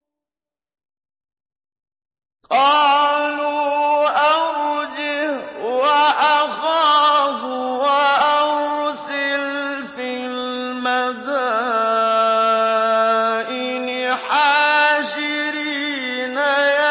قَالُوا أَرْجِهْ وَأَخَاهُ وَأَرْسِلْ فِي الْمَدَائِنِ حَاشِرِينَ